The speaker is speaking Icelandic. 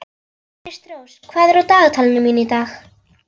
Kristrós, hvað er á dagatalinu mínu í dag?